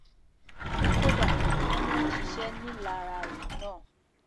kódà wọ́n ní wọ́n ṣiṣẹ́ ńìlararó náà